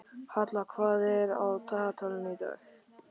Halla, hvað er á dagatalinu í dag?